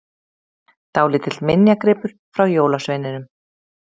Dálítill minjagripur frá jólasveininum!